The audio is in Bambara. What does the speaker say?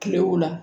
Kile o la